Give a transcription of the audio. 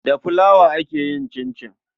Da fulawa ake yin cincin.